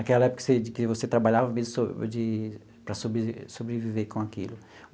Aquela época que você de que trabalhava mesmo de para sobreviver sobreviver com aquilo.